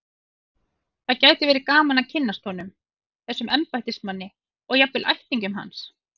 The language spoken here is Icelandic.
Það gæti verið gaman að kynnast honum, þessum embættismanni, og jafnvel ættingjum hans.